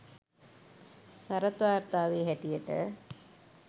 සරත් වාර්තාවේ හැටියට